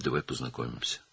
İndi gəl tanış olaq.